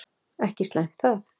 Ekki slæmt það.